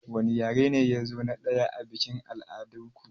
Wani yare ne yazo na ɗaya a biƙin al'adar ku